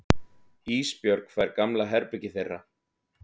Ísbjörg fær gamla herbergið þeirra.